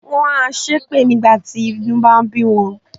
Wọ́n a ṣépè nígbà tí inú ń bá bí wọn.